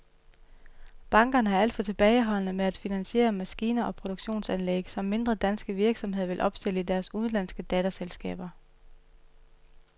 Bankerne er alt for tilbageholdende med at finansiere maskiner og produktionsanlæg, som mindre danske virksomheder vil opstille i deres udenlandske datterselskaber.